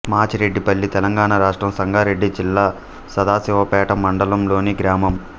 మాచిరెడ్డిపల్లి తెలంగాణ రాష్ట్రం సంగారెడ్డి జిల్లా సదాశివపేట మండలంలోని గ్రామం